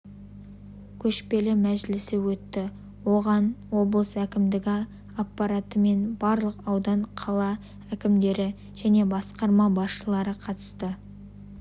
көшпелі мәжілісі өтті оған облыс әкімдігі аппараты мен барлық аудан қала әкімдері және басқарма басшылары қатысты